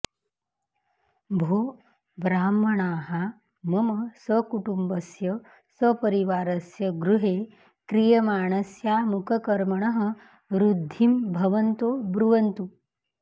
भो ब्राह्मणाः मम सकुटुम्बस्य सपरिवारस्य गृहे क्रियमाणस्यामुककर्मणः ऋद्धिं भवन्तो ब्रुवन्तु